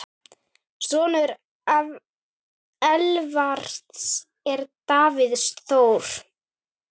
Sonur Elvars er Davíð Þór.